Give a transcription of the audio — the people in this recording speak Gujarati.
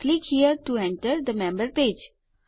click here to enter the member page